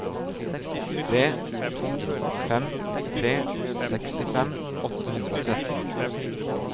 tre to fem tre sekstifem åtte hundre og tretten